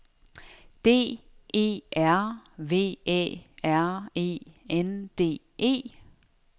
D E R V Æ R E N D E